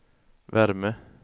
värme